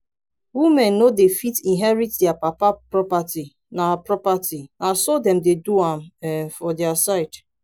women no dey fit inherit dia papa property na property na so dem dey do am um for dia side